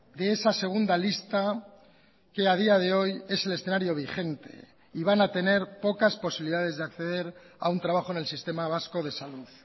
de esa segunda lista que ha día de hoy es el escenario vigente y van a tener pocas posibilidades de acceder a un trabajo en el sistema vasco de salud